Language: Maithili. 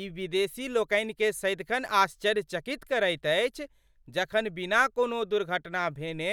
ई विदेशी लोकनिकेँ सदिखन आश्चर्यचकित करैत अछि जखन बिना कोनो दुर्घटना भेने